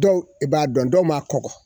Dɔw i b'a dɔn dɔw maa kɔgɔ.